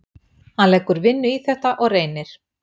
Hann leggur vinnu í þetta og reynir.